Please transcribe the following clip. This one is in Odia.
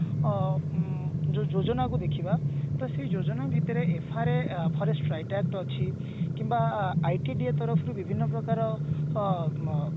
ଅ ଉଁ ଯୋଉ ଯୋଜନା କୁ ଦେଖିବା ତ ସେଇ ଯୋଜନା ଭିତରେ FRA forest ଅଛି କିମ୍ବା ITDA ତରଫରୁ ବିଭିନ୍ନ ପ୍ରକାର ଅ ମ